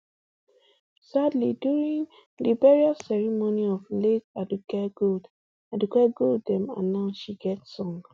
sadly during di burial ceremony of late aduke gold aduke gold dem announce she get song